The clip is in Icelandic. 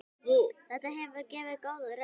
Þetta hefur gefið góða raun.